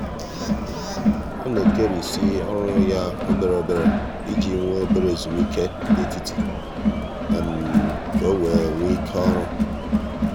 ọ na-ekerisị ọrụ ya obere obere iji nwee obere ezumike n'etiti ka ọ wee nwee ike ọrụ.